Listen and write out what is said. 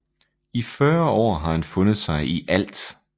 I 40 år har han fundet sig i ALT